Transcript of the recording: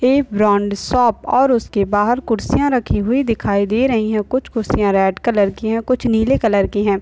ये brand shop और उसके बाहर कुर्सियां रखी हुई दिखाई दे रही है कुछ कुर्सियां रेड कलर की है कुछ नीले कलर की है।